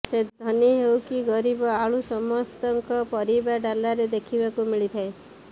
ସେ ଧନୀ ହେଉ କି ଗରିବ ଆଳୁ ସମସ୍ତଙ୍କ ପରିବା ଡାଲାରେ ଦେଖିବାକୁ ମିଳିଥାଏ